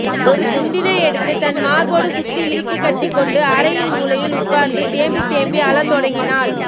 ஒரு துண்டினை எடுத்து தன் மார்போடு சுத்தி இறுக்கிக் கட்டிக்கொண்டு அறையின் மூலையில் உட்கார்ந்து தேம்பி தேம்பி அழத் தொடங்கினாள்